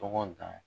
Tɔgɔ dan